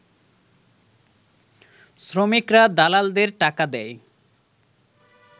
শ্রমিকরা দালালদের টাকা দেয়